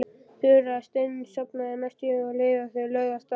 Þura steinsofnaði næstum um leið og þau lögðu af stað.